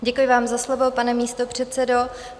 Děkuji vám za slovo, pane místopředsedo.